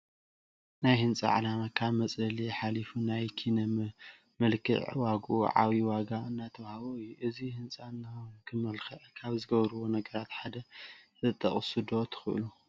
ናይ ህንፃ ዕላማ ካብ መፅለሊ ሓሊፉ ናይ ኪነ መልክዕ ዋግኡ ዓብዪ ዋጋ እናተዋህቦ እዩ፡፡ እዚ ህንፃ ንክምልክዕ ካብ ዝገበርዎ ነገራት ሓደ ክትጠቕሱ ዶ ትኽእሉ?